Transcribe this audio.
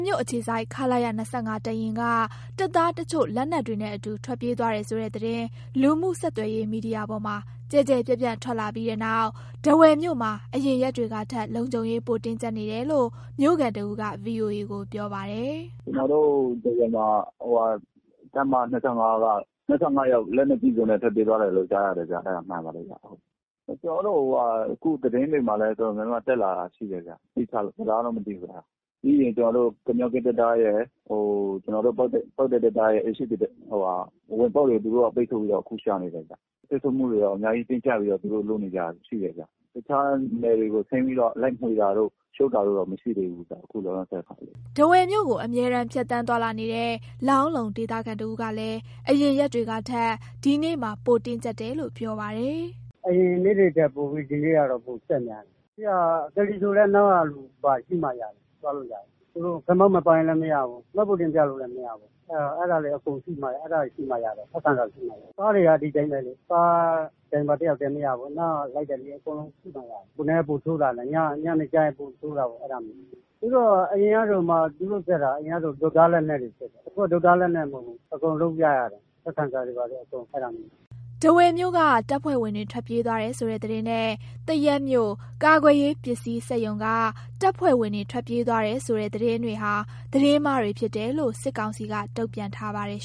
မြို့အခြေစိုက် ခလရ တပ်ရင်းက တပ်သားတချို့ လက်နက်တွေနဲ့အတူ ထွက်ပြေးသွားတယ်ဆိုတဲ့သတင်း လူမှုဆက်သွယ်ရေးမီဒီယာပေါ်မှာ ကျယ်ကျယ်ပြန့်ပြန့် ထွက်လာပြီးတဲ့နောက် ထားဝယ်မြို့မှာ အရင်ရက်တွေကထက် လုံခြုံရေး ပိုတင်းကျပ်နေတယ်လို့ မြို့ခံတဦးက ဗွီအိုအေကိုပြောပါတယ်။ “ကျနော်တို့ ထားဝယ်မှာ ဟိုဟာ တပ်မ ၂၅ က ၂၅ ယောက်က လက်နက်ကျည်နဲ့ ထွက်ပြေးသွားတယ်လို့ ကြားရတယ်ဗျ၊ ကျနော်တို့ အခုသတင်းတွေမှာလည်း တော်တော်တက်လာတာရှိတယ်ဗျ သေချာသလားတော့ မဟုတ်ဘူး အဲ့ဒါ၊ ပြီးရင် ကျနော်တို့ ကမြောကင်းတံတားရယ် ကျနော်တို့ ပေါက်တိုင်းတံတားရယ် အိမ်ရှေ့ပြင်တံတား ဟိုဟာ အဝင်ပေါက်တွေ သူတို့ ပိတ်ဆို့ပြီးတော့ အခုရှာနေတယ်ဗျ။ ပိတ်ဆို့မှုတွေ အများကြီးတင်းကြပ်ပြီး သူတို့လုပ်နေကြတာ ရှိတယ်ဗျ။ တခြားနယ်တွေကို ဆင်းပြီးတော့ လိုက်မွှေတာတို့ ၊ချုပ်တာတို့ မရှိသေးဘူး။” ထားဝယ်မြို့ကို အမြဲတမ်း ဖြတ်သန်းသွားလာနေတဲ့ လောင်းလုံဒေသခံတစ်ဦးကလည်း အရင်ရက်တွေကထက် ဒီနေ့မှာ ပိုတင်းကြပ်တယ်လို့ပြောပါတယ်။ “အရင်နေ့တွေထက် ပိုပြီး ဒီနေ့က ပိုအစစ်များတယ်၊ သက္ကစီးဆိုလည်း အနောက်ကလူ ပါရှိမှ ရမယ် သွားလို့ရမယ်၊ ခမောက် မပါလည်းမရဘူး မှတ်ပုံတင်ပြလို့လည်း မရဘူး၊ အဲ့ဒါတွေရှိမှရတယ် ထောက်ခံစာတွေ ရှိမှရတယ်၊ ကားတွေကလည်း ဒီတိုင်းပဲလေး ကားမောင်းသူတစ်ယောက်ထဲ ရှိတာမရဘူး အနောက်က လိုက်တဲ့လူ အကုန်လုံးရှိမှရတယ်၊ အခုနည်းနည်းပိုဆိုးလာတယ် ညနေကျရင် ပိုဆိုးတာပေါ့ အဲ့ဒါမျိုးတွေ၊ သူတို့ အရင်ကဆိုရင် သူတို့ တုတ်၊ ဓား လက်နက်တွေ စစ်တယ်။ အခုက တုတ်၊ ဓား လက်နက်မဟုတ်ဘူး အကုန်လုံးပြရတယ်။ ထောက်ခံစာတွေ ဘာတွေအကုန်အစုံ အဲ့ဒါမျိုးတွေ။” ထားဝယ်မြို့က တပ်ဖွဲ့ဝင်တွေ ထွက်ပြေးတယ်ဆိုတဲ့သတင်းနဲ့ သရက်မြို့၊ ကာကွယ်ရေးပစ္စည်းစက်ရုံက တပ်ဖွဲ့ဝင်တွေ ထွက်ပြေးတယ်ဆိုတဲ့သတင်းတွေဟာ သတင်းမှားတွေဖြစ်တယ်လို့ စစ်ကောင်စီက တုံ့ပြန်ထားပါတယ်